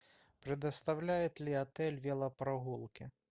предоставляет ли отель велопрогулки